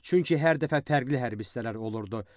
Çünki hər dəfə fərqli hərbi hissələr olurdu.